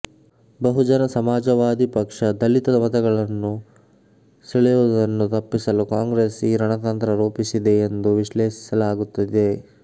ಬಹುಜನ ಸಮಾಜವಾದಿ ಪಕ್ಷ ದಲಿತ ಮತಗಳನ್ನು ಸೆಳೆಯುವುದನ್ನು ತಪ್ಪಿಸಲು ಕಾಂಗ್ರೆಸ್ ಈ ರಣತಂತ್ರ ರೂಪಿಸಿದೆ ಎಂದು ವಿಶ್ಲೇಷಿಸಲಾಗುತ್ತಿದೆ